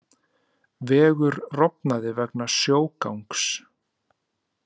Vegur rofnaði vegna sjógangs